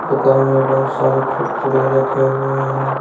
दुकान में बहुत सारे कुरकुरे रखे हुए हैं।